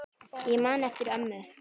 Ég man eftir ömmu.